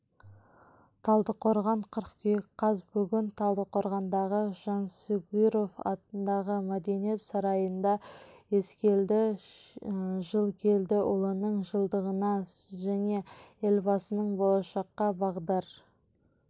талдықорған қыркүйек қаз бүгін талдықорғандағы жансүгіров атындағы мәдениет сарайында ескелді жылкелдіұлының жылдығына және елбасының болашаққа бағдар